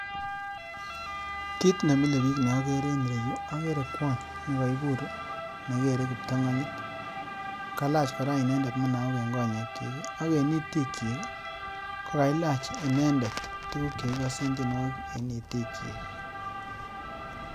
Kit nemilebik neokere en ireyu, okere kwony nekoibur nekere kiptong'onyit. Kailach kora inendet munaok en konyekyik ak en itikyik, kokailach inendet tuguk chekikosen tienwogik en itikyik.